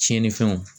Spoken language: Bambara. Tiɲɛnifɛnw